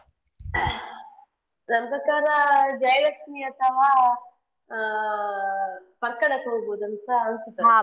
ನನ್ ಪ್ರಕಾರ Jayalakshmi ಅಥವಾ ಆ Parkala ಕ್ಕೆ ಹೋಗುದಂತ .